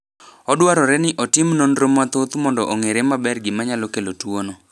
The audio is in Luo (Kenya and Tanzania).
Odwarore ni otim nonro mathoth mondo ong’ere maber gima nyalo kelo tuwono.